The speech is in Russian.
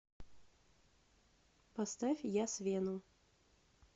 поставь ясвену